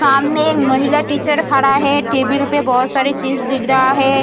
सामने महिला टीचर खड़ा हैं टेबिल पर बहुत सारी चीज दिख रहा हैं।